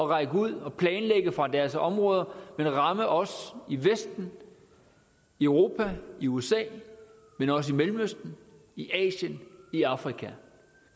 række ud og planlægge fra deres områder og ramme os i vesten i europa i usa men også i mellemøsten i asien i afrika